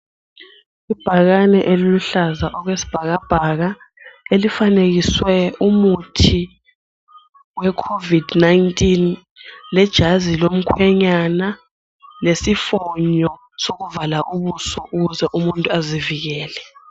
Ibhakani eliluhlaza okwesibhakabhaka elifanekiswe umuthi we covid 19 lejazi lomkhwenyana lesifonyo sokuvala ubuso ukuze umuntu azivikele.